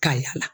Ka yaala